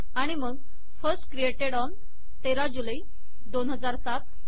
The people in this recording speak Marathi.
आणि मग फर्स्ट क्रिएटेड ऑन १३ जुलै २००७